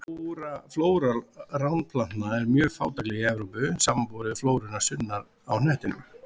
Flóra ránplantna er mjög fátækleg í Evrópu, samanborið við flóruna sunnar á hnettinum.